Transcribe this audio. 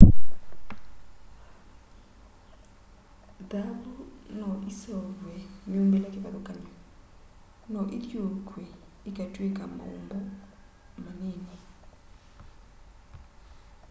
thaavũ no ĩseũvwe myũmbĩle kĩvathũkangany'o no ĩthiuukw'e ĩkatwĩka maũmbo manini